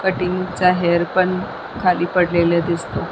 cutting चा hair पण खाली पडलेला दिसतो--